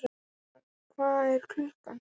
Þórar, hvað er klukkan?